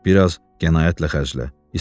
Bir az qənaətlə xərclə.